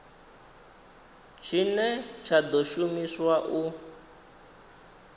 tshine tsha ḓo shumiswa u